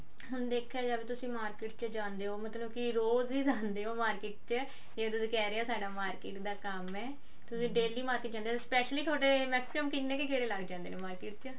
ਹੁਣ ਦੇਖਿਆ ਜਾਵੇ ਤੁਸੀਂ market ਚ ਜਾਂਦੇ ਹੋ ਮਤਲਬ ਕੀ ਰੋਜ ਹੀ ਜਾਂਦੇ ਹੋ market ਚ ਜੇ ਤੁਸੀਂ ਕਿਹ ਰਹੇ ਹੋ ਸਾਡਾ market ਦਾ ਕੰਮ ਹੈ ਤੁਸੀਂ daily market ਜਾਂਦੇ ਹੋ specially ਥੋਡੇ maximum ਕਿੰਨੇ ਕੁ ਗੇੜੇ ਲੱਗ ਜਾਂਦੇ ਨੇ market ਚ